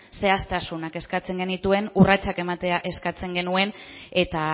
zehaztasunak eskatzen genituen urratsak ematea eskatzen genuen eta